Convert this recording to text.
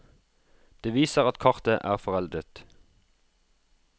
Det viser at kartet er foreldet.